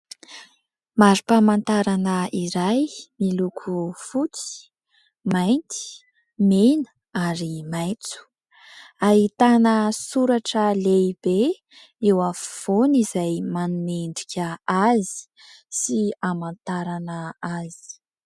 Marim-pamantarana iray miloko fotsy, mainty, mena ary maitso. Ahitana soratra lehibe eo afovoany, izay manome endrika azy sy hamantarana azy.